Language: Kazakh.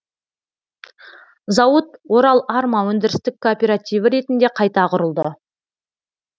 зауыт орал арма өндірістік кооперативі ретінде қайта құрылды